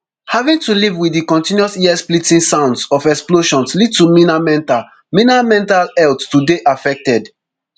having to live wit di continuous earsplitting sounds of explosions lead to mina mental mina mental health to dey affected